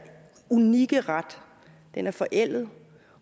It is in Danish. unikke ret er forældet